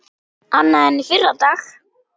Annað en í fyrradag.